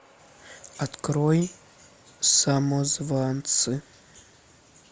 открой самозванцы